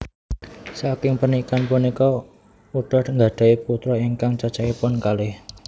Saking pernikahan punika Utha nggadhahi putra ingkang cacahipun kalih